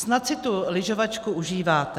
Snad si tu lyžovačku užíváte.